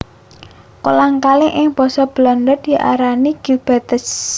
Kolang kaling ing basa Belanda diarani glibbertjes